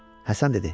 Həsən dedi: